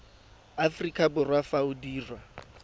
aforika borwa fa o dirwa